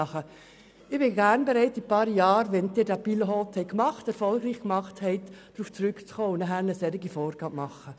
Ich bin gern bereit, in einigen Jahren, wenn Sie diesen Pilotversuch erfolgreich durchgeführt haben, darauf zurückzukommen und dann solche Vorgaben zu machen.